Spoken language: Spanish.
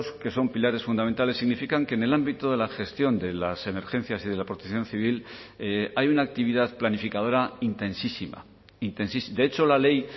que son pilares fundamentales significan que en el ámbito de la gestión de las emergencias y de la protección civil hay una actividad planificadora intensísima de hecho la ley